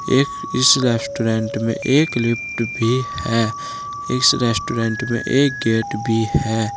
एक इस रेस्टोरेंट में एक लिफ्ट भी है इस रेस्टोरेंट में एक गेट भी है।